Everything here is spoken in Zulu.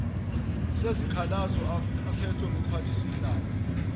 sezikhalazo akhethwe ngumphathisihlalo